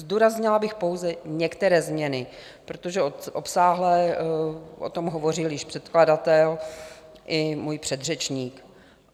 Zdůraznila bych pouze některé změny, protože obsáhle o tom hovořil již předkladatel i můj předřečník.